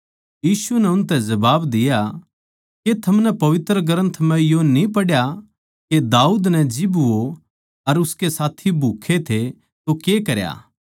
यीशु नै उनतै जबाब दिया के थमनै पवित्र ग्रन्थ म्ह यो न्ही पढ़या के दाऊद नै जिब वो अर उसके साथी भूक्खे थे तो के करया